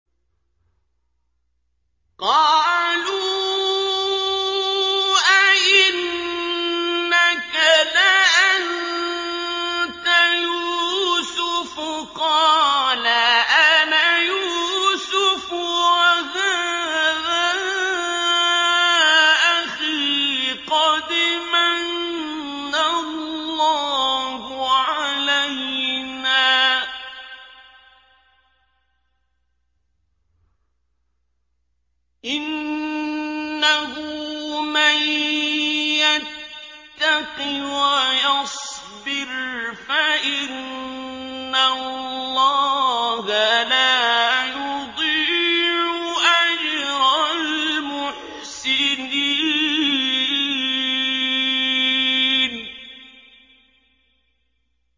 قَالُوا أَإِنَّكَ لَأَنتَ يُوسُفُ ۖ قَالَ أَنَا يُوسُفُ وَهَٰذَا أَخِي ۖ قَدْ مَنَّ اللَّهُ عَلَيْنَا ۖ إِنَّهُ مَن يَتَّقِ وَيَصْبِرْ فَإِنَّ اللَّهَ لَا يُضِيعُ أَجْرَ الْمُحْسِنِينَ